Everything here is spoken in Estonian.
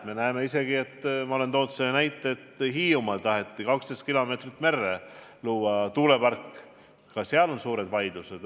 Me näeme isegi – ma olen juba selle näite toonud –, et Hiiumaal taheti 12 kilomeetri kaugusele merre luua tuulepark, aga ka seal puhkesid suured vaidlused.